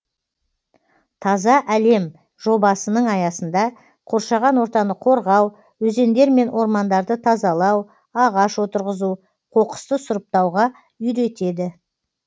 таза әлем жобасының аясында қоршаған ортаны қорғау өзендер мен ормандарды тазалау ағаш отырғызу қоқысты сұрыптауға үйретеді